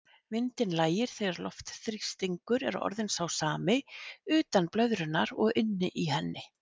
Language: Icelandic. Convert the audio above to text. Vindinn lægir þegar loftþrýstingur er orðinn sá sami utan blöðrunnar og inni í henni.